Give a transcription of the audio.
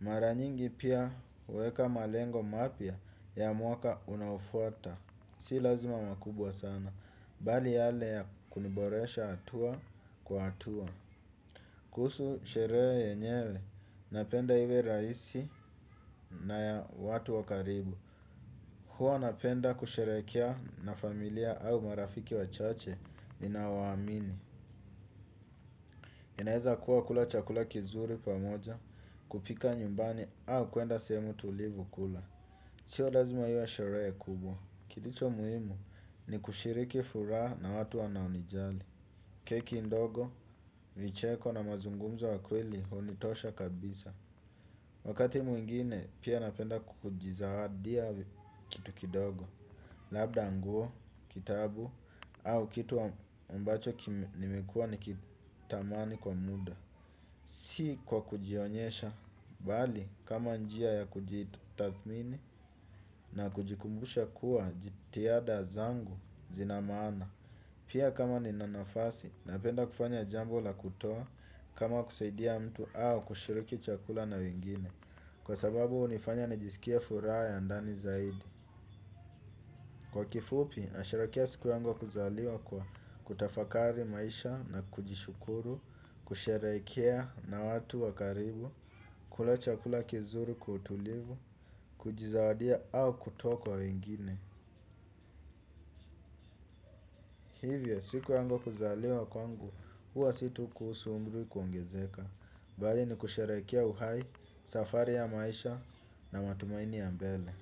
Mara nyingi pia huweka malengo mapya ya mwaka unafuata. Si lazima makubwa sana. Bali yale ya kuniboresha hatua kwa hatua. Kuhusu sherehe yenyewe, napenda iwe rahisi na ya watu wa karibu. Huwa napenda kusherehekea na familia au marafiki wachache ninaowaamini. Inaweza kuwa kula chakula kizuri pamoja, kupika nyumbani au kuenda sehemu tulivu kula. Sio lazima iwe sherehe kubwa. Kilicho muhimu ni kushiriki furaha na watu wanaonijali. Keki ndogo, vicheko na mazungumzo ya kweli hunitosha kabisa. Wakati mwingine pia napenda kujizawadia kitu kidogo. Labda nguo, kitabu, au kitu ambacho nimekua nikitamani kwa muda. Si kwa kujionyesha, bali kama njia ya kujitathmini na kujikumbusha kuwa jitihada zangu zina maana. Pia kama nina nafasi, napenda kufanya jambo la kutoa, kama kusaidia mtu au kushiriki chakula na wengine, kwa sababu hunifanya nijisikie furaha ndani zaidi. Kwa kifupi, nasherekea siku yangu ya kuzaliwa kwa kutafakari maisha na kujishukuru, kushirikiana na watu wa karibu, kula chakula kizuri kwa utulivu, kujizawadia au kutoa kwa wengine. Hivyo, siku yangu ya kuzaliwa, huwa sio tu kuhusu umri kuongezeka. Bali ni kushirikia uhai, safari ya maisha na matumaini ya mbele.